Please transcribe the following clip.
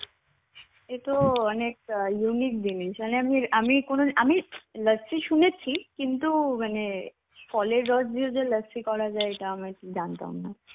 এতো অনেক unique জিনিস. মানে আমি আমি কোন আমি লস্যি শুনেছি. কিন্তু মানে ফলের রস দিয়ে যে লস্যি করা যায় এটা আমি জানতাম না